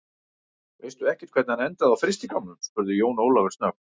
Veistu ekkert hvernig hann endaði á frystigámnum, spurði Jón Ólafur snöggt.